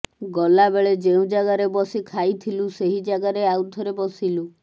ଗଲାବେଳେ ଯେଉଁ ଜାଗାରେ ବସି ଖାଇଥିଲୁ ସେହି ଜାଗାରେ ଆଉ ଥରେ ବସିଲୁ